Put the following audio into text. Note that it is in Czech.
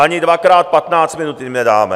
Ani dvakrát patnáct minut jim nedáme!